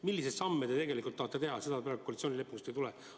Milliseid samme te tegelikult tahate teha, seda praegu koalitsioonileppest ei selgu.